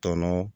Tɔnɔ